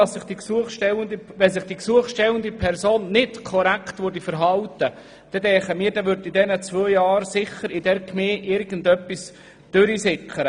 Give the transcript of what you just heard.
Sollte sich die betreffende Person während dieser Zeit nicht korrekt verhalten, würde in der Gemeinde etwas durchsickern.